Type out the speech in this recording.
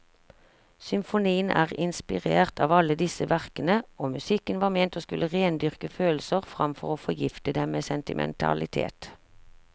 Symfonien er inspirert av alle disse verkene, og musikken var ment å skulle rendyrke følelser framfor å forgifte dem med sentimentalitet.